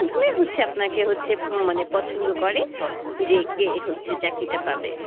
হচ্ছে আপনাকে মানে হচ্ছে পছন্দ করে যে কে হচ্ছে চাকরিটা পাবে?